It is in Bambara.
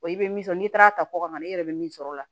i bɛ min sɔrɔ n'i taara ta kɔkan na i yɛrɛ bɛ min sɔrɔ o la